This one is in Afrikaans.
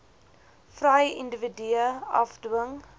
vry individue afdwing